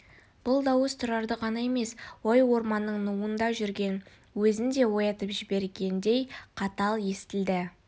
бұл дауыс тұрарды ғана емес ой орманының нуында жүрген өзін де оятып жібергендей қатал естілді